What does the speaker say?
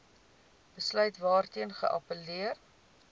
besluit waarteen geappelleer